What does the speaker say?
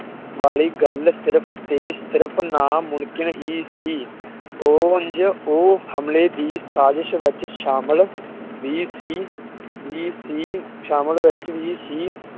ਵਾਲੀ ਗੱਲ ਸਿਰਫ਼ ਤੇ ਸਿਰਫ਼ ਨਾ ਮੁਣਕਿਣ ਹੀ ਸੀ। ਉਹ ਉਝ ਉਹ ਹਮਲੇ ਦੀ ਸਾਜਿਜ਼ ਵਿੱਚ ਸ਼ਾਮਿਲ ਵੀ ਸੀ ਵੀ ਸੀ ਸ਼ਾਮਿਲ ਵਿੱਚ ਵੀ ਸੀ